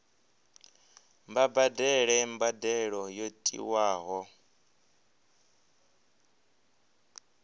vha badele mbadelo yo tiwaho